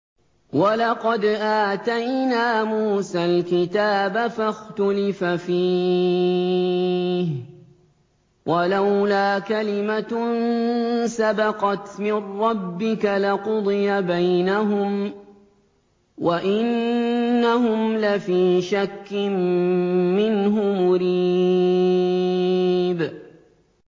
وَلَقَدْ آتَيْنَا مُوسَى الْكِتَابَ فَاخْتُلِفَ فِيهِ ۗ وَلَوْلَا كَلِمَةٌ سَبَقَتْ مِن رَّبِّكَ لَقُضِيَ بَيْنَهُمْ ۚ وَإِنَّهُمْ لَفِي شَكٍّ مِّنْهُ مُرِيبٍ